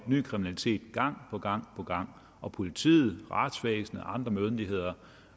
ny kriminalitet gang på gang på gang og politiet og retsvæsenet